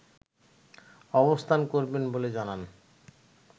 অবস্থান করবেন' বলে জানান